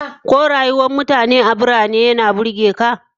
Ko rayuwar mutane a birane yana burge ka?